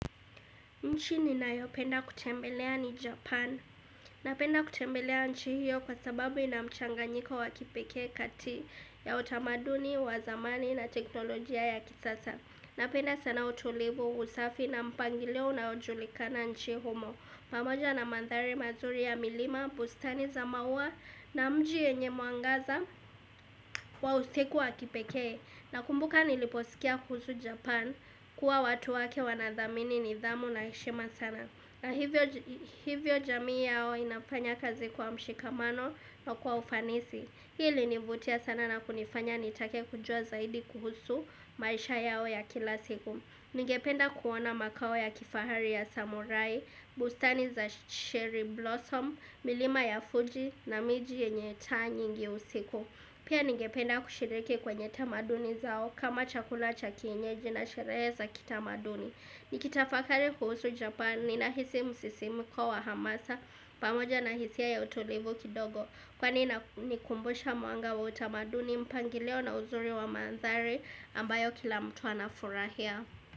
Nchi ninayo penda kutembelea ni Japan. Napenda kutembelea nchi hiyo kwa sababu ina mchanganyiko wa kipekee kati ya utamaduni, wa zamani na teknolojia ya kisasa. Napenda sana utulivu, usafi na mpangilio unao julikana nchi humo. Pamoja na mandhari mazuri ya milima, bustani za maua na mji yenye mwangaza wa usiku wa kipekee. Na kumbuka niliposikia kuhusu japan kuwa watu wake wana thamini nidhamu na heshima sana. Na hivyo hivyo jamii yao inafanya kazi kwa mshikamano na kwa ufanisi. Hii hunivutia sana na kunifanya nitake kujua zaidi kuhusu maisha yao ya kila siku. Nigependa kuona makao ya kifahari ya samorai, bustani za shiri blossom, milima ya Fuji na miji yenye taa nyingi usiku. Pia nigependa kushiriki kwenye tamaduni zao kama chakula cha kienyeji na shehere za kitamanduni. Nikitafakari kuhusu japani ninahisi msisimuko wahamasa pamoja nahisia utulivu kidogo kwani inanikumbusha mwanga wa utamaduni mpangilio na uzuri wa maandhari ambayo kila mtu anafurahia.